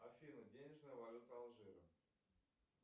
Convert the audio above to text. афина денежная валюта алжира